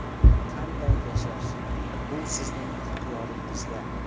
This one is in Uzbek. Qanday yashash – bu sizning ixtiyoringizda.